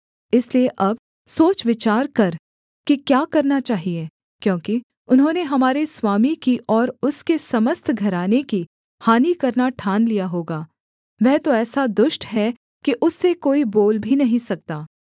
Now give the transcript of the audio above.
इसलिए अब सोच विचार कर कि क्या करना चाहिए क्योंकि उन्होंने हमारे स्वामी की और उसके समस्त घराने की हानि करना ठान लिया होगा वह तो ऐसा दुष्ट है कि उससे कोई बोल भी नहीं सकता